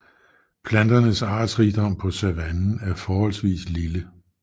Planternes artsrigdom på savannen er forholdsvis lille